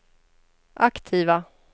aktiva